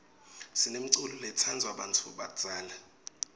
sinemculo lotsndvwa bantfu labadzala